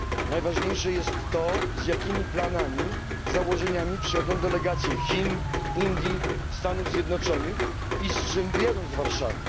Najważniejsze jest to, z jakimi planami i założeniami przyjadą delegacje Chin, Indii i Stanów Zjednoczonych, i z czym wyjadą z Warszawy.